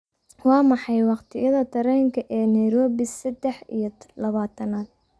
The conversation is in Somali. waa maxay waqtiyada tareenka ee nairobi seddex iyo labaatanaad